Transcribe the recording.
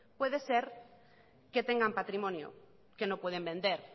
puede ser que tengan patrimonio que no pueden vender